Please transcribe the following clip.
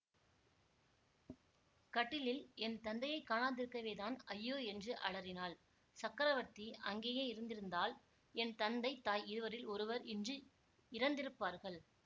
கட்டிலில் என் தந்தையைக் காணாதிருக்கவேதான் ஐயோ என்று அலறினாள் சக்கரவர்த்தி அங்கேயே இருந்திருந்தால் என் தந்தை தாய் இருவரில் ஒருவர் இன்று இறந்திருப்பார்கள்